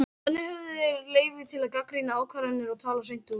þannig höfðu þeir leyfi til að gagnrýna ákvarðanir og tala hreint út